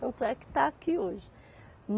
Tanto é que está aqui hoje.